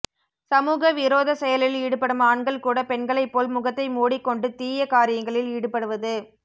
சமூக விரோதச் செயலில் ஈடுபடும் ஆண்கள் கூட பெண்களைப் போல் முகத்தை மூடிக் கொண்டு தீய கரியங்களில் ஈடுபடுவது